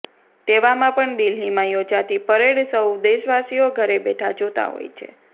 તેવામાં પણ દિલ્હીમાં યોજાતી પરેડ સૌ દેશવાસીઓ ઘરે બેઠાં જોતાં હોય છે